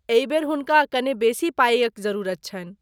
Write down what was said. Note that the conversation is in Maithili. एहि बेर, हुनका कने बेसी पाइक जरूरत छनि।